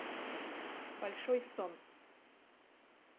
большой сон